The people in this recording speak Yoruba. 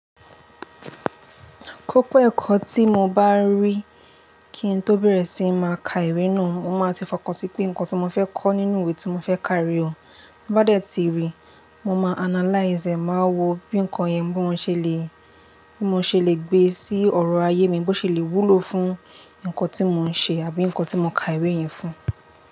Kókó ẹ̀kọ́ tí mo bá rí kí ń tó bẹ̀rẹ̀ sí máa ka ìwé náà, mo máa ti fọkàntí pé nǹkan tí mo fẹ́ kọ́ nínú ìwé tí mo fẹ́ ka re o. Bá dẹ̀ ti rí, mo máa analyze e, màá wo bí nǹkan yẹn bí mo ṣe le, bí mo ṣe le gbé e sí ọ̀rọ̀ ayé mi, bó ṣe le wúlò fún nǹkan tí mò ń ṣe àbí nǹkan tí mo ka ìwé yẹn fún.